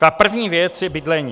Ta první věc je bydlení.